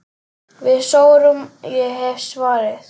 Við sórum, ég hef svarið.